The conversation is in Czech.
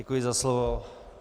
Děkuji za slovo.